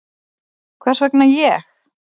Hvers vegna ég?